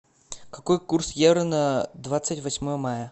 какой курс евро на двадцать восьмое мая